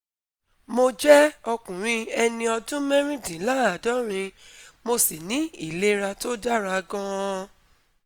mo jẹ́ ọkùnrin ẹni ọdún mẹ́rìndínláàádọ́rin, mo sì ní ìlera tó dára gan-an